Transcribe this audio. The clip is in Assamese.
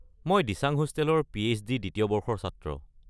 মই দিচাং হোষ্টেলৰ পি.এইচ.ডি দ্বিতীয় বৰ্ষৰ ছাত্ৰ।